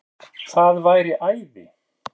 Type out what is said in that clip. Það væri æði